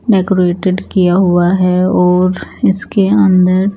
decorated किया हुआ है और इसके अंदर--